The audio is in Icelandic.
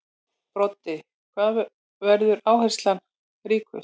Broddi: Hvar verður áherslan ríkust?